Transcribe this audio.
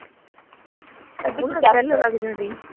ਭਾਭੀ ਤੁਹਾਨੂੰ